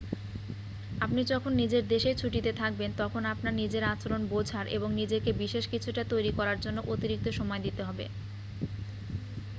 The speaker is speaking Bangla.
আপনি যখন নিজের দেশেই ছুটিতে থাকবেন তখন আপনার নিজের আচরণ বোঝার এবং নিজেকে বিশেষ কিছুটা তৈরি করার জন্য অতিরিক্ত সময় দিতে হবে